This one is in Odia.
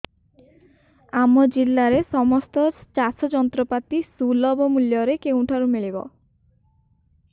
ଆମ ଜିଲ୍ଲାରେ ସମସ୍ତ ଚାଷ ଯନ୍ତ୍ରପାତି ସୁଲଭ ମୁଲ୍ଯରେ କେଉଁଠାରୁ ମିଳିବ